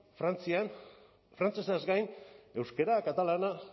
frantzian frantsesaz gain euskara katalana